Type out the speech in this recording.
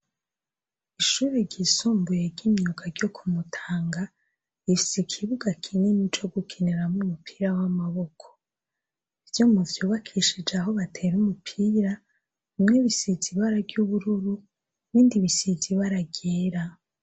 Ishure ryisumbuye ry'imyuga ryo ku Mutanga, rifise ikibuga kinini co gukiniramwo umupira w'amaboko. Ivyuma vyubakishije aho batera umupira, bimwe bisize ibara ry'ubururu, ibindi bisize ibara ryera.